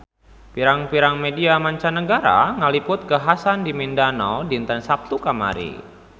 Pirang-pirang media mancanagara ngaliput kakhasan di Mindanao dinten Saptu kamari